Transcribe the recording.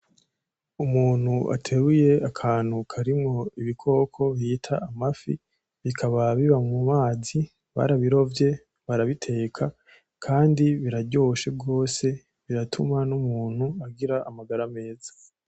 Umuntu aterure akantu karimwo ibikoko bita amafi bikaba biba mumazi barabirovye barabiteka kandi biraryoshe gose biratuma n'umuntu agira amagara meza